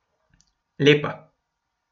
Lepa.